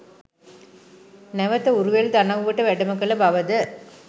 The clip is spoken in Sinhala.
නැවත උරුවෙල් දනව්වට වැඩම කළ බවද